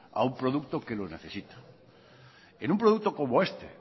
a un producto que lo necesita en un producto como este